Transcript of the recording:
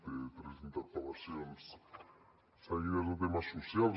té tres interpel·lacions seguides de temes socials